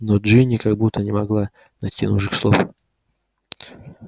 но джинни как будто не могла найти нужных слов